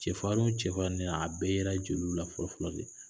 Cɛfarin cɛfarinyan a bɛɛ yera jeliw la fɔlɔ fɔlɔ de.